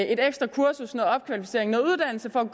ekstra kursus noget opkvalificering noget uddannelse for at